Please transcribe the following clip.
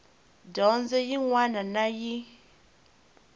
dyondzo yin wana na yin